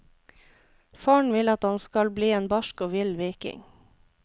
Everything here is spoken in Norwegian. Faren vil at han skal bli en barsk og vill viking.